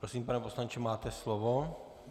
Prosím, pane poslanče, máte slovo.